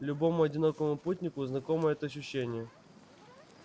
любому одинокому путнику знакомо это ощущение